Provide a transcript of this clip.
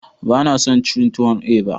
Bana son cin tuwon eba.